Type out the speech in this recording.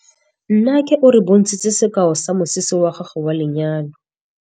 Nnake o re bontshitse sekaô sa mosese wa gagwe wa lenyalo.